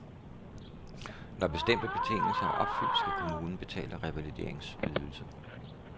Når bestemte betingelser er opfyldt skal kommunen betale revalideringsydelse.